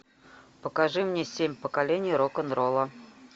покажи мне семь поколений рок н ролла